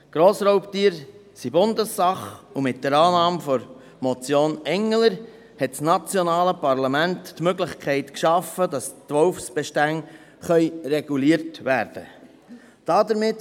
Grossraubtiere sind Bundessache, und mit der Annahme der Motion Engler hat das nationale Parlament die Möglichkeit geschaffen, dass die Wolfsbestände reguliert werden können.